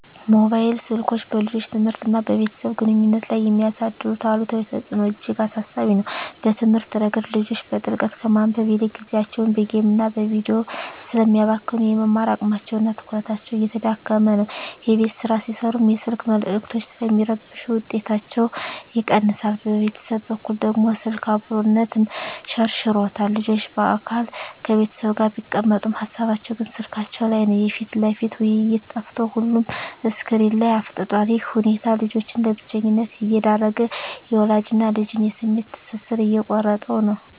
ሞባይል ስልኮች በልጆች ትምህርትና በቤተሰብ ግንኙነት ላይ የሚያሳድሩት አሉታዊ ተጽዕኖ እጅግ አሳሳቢ ነው። በትምህርት ረገድ፣ ልጆች በጥልቀት ከማንበብ ይልቅ ጊዜያቸውን በጌምና በቪዲዮ ስለሚያባክኑ፣ የመማር አቅማቸውና ትኩረታቸው እየተዳከመ ነው። የቤት ሥራ ሲሠሩም የስልክ መልዕክቶች ስለሚረብሹ ውጤታቸው ይቀንሳል። በቤተሰብ በኩል ደግሞ፣ ስልክ "አብሮነትን" ሸርሽሮታል። ልጆች በአካል ከቤተሰብ ጋር ቢቀመጡም፣ ሃሳባቸው ግን ስልካቸው ላይ ነው። የፊት ለፊት ውይይት ጠፍቶ ሁሉም ስክሪን ላይ አፍጥጧል። ይህ ሁኔታ ልጆችን ለብቸኝነት እየዳረገ፣ የወላጅና ልጅን የስሜት ትስስር እየቆረጠው ነው።